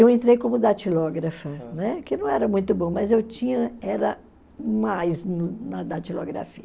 Eu entrei como datilógrafa, que não era muito bom, mas eu tinha, era mais no na datilografia.